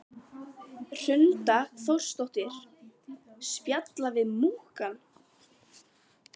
Hrund Þórsdóttir: Spjalla við múkkann?